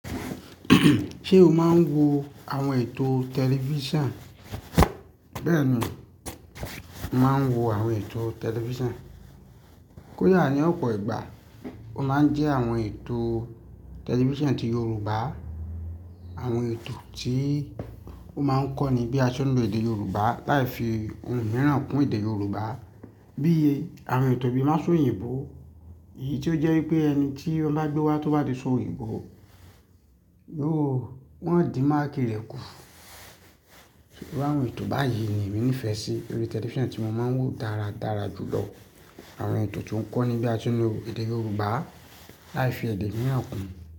Ṣe o máa ń wo àwọn ètò tẹlifisan? Bẹ́ẹ̀ni, mo máa ń wo àwọn ètò tẹlifisan. Kó yà ní ọ̀pọ̀ ìgbà, o máa ń jẹ àwọn ètò tẹlifisan ti Yoruba. Àwọn ètò tí ó máa ń kọ́ ni bí a ṣe ń lo èdè Yorùbá, láì fi ohun mìíràn kún èdè Yorùbá. Bí i àwọn ètò bí i má Sòyìnbó, èyí tó jẹ́ wípé ẹni tí ọlá gbé wá tó bá di òṣóyìnbó, yóò, wọ́n á dí máàkì rẹ̀ kù. Àwọn ètò báyìí ni èmi nífẹ̀ẹ́ sí orí tẹlifisan tí mo máa ń wò dáradára jù lọ. Àwọn ètò tí ó ń kọ́ ní bí a ṣe ń lo èdè Yorùbá láì fi èdè mìíràn kùn.